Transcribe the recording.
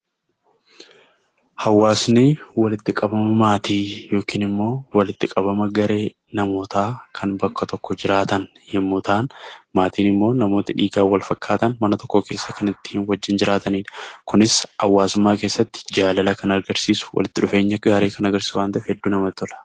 Hawaasni walitti qabama maatii yookiin immoo walitti qabama garee namootaa kan bakka tokko jiraatan yommuu ta'an, maatiin immoo namoota dhiigaan wal fakkaatan, mana tokko keessa kan ittiin wajjin jiraatanidha. Kunis hawaasummaa keessatti jaalala kan agarsiisu, walitti dhufeenya gaarii kan agarsiisu waan ta'eef hedduu namatti tola!